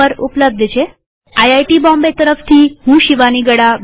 IIT Bombay તરફથી હું શિવાની ગડા વિદાય લઉં છુંટ્યુ્ટોરીઅલમાં ભાગ લેવા આભાર